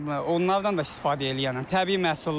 Onlardan da istifadə eləyirəm, təbii məhsullardır.